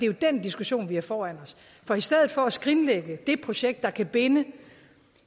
jo den diskussion vi har foran os for i stedet for at skrinlægge det projekt der kan binde